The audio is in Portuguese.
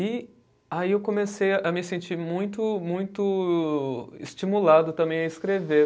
E aí eu comecei a me sentir muito muito estimulado também a escrever.